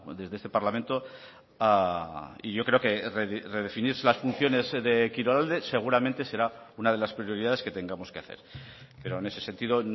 desde este parlamento y yo creo que redefinirse las funciones de kirolalde seguramente será una de las prioridades que tengamos que hacer pero en ese sentido